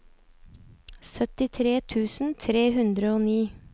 syttitre tusen tre hundre og ni